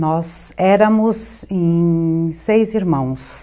Nós éramos em... seis irmãos.